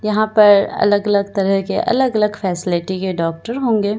यहां पर अलग अलग तरह के अलग अलग फैसिलिटी के डॉक्टर होंगे।